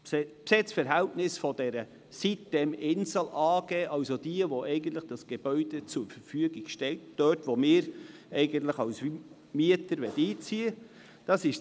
Die Besitzverhältnisse der sitem-insel AG, also derjenigen Unternehmungen, welche das Gebäude zur Verfügung stellen, in welches wir als Mieter einziehen möchten, sind wie folgt: